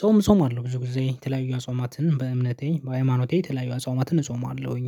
ጾም እጾማለሁ ብዙ ጊዜ የተለያዩ አጽዋማትን በእምነቴ በሃይማኖቴ የተለያዩ አጽዋማትን እጾማለሁኝ